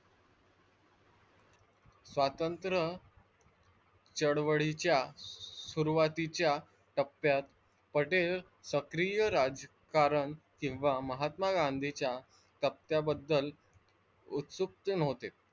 स्वातंत्र्य चळवळीच्या सुरुवातीच्या टप्प्यात पटेल सक्रिय राजकारण किंवा महात्मा गांधींच्या सत्याबद्दल उत्सुक होते.